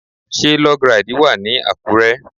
Ṣé Log ride wà ní Àkúrẹ́?